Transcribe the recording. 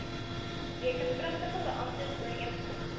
rekenpligtige beamptes ooreengekom